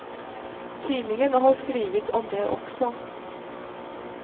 Tidningen har skrivit om det också.